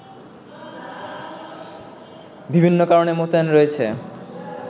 বিভিন্ন কারণে মোতায়েন রয়েছে